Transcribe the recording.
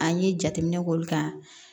An ye jateminɛ k'olu kan